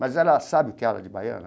Mas ela sabe o que é ala de baiana?